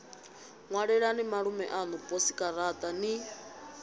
ṅwalelani malume aṋu posikaraṱa ni